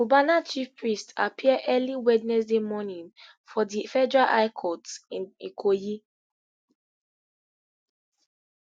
cubana chief priest appear early wednesday morning for di federal high court in ikoyi